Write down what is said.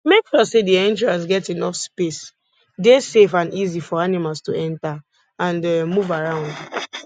make sure say di entrance get enough space dey safe and easy for animals to enter and um move around